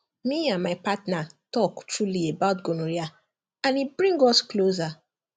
me and my partner talk truly about gonorrhea and e bring us closer